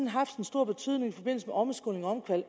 haft en stor betydning i forbindelse med omskoling og